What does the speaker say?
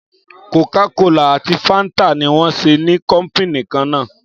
Kòkà kòlá àtí fàńtà ní wón sẹ ni kọpínì kàn nà.